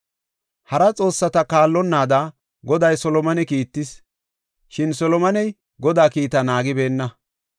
Hara xoossata kaallonnaada Goday Solomone kiittis, shin Solomoney Godaa kiitaa naagibeenna.